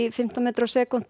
fimmtán metra á sekúntu